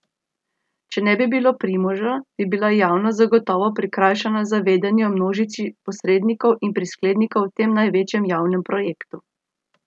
Če ne bi bilo Primoža, bi bila javnost zagotovo prikrajšana za vedenje o množici posrednikov in prisklednikov v tem največjem javnem projektu.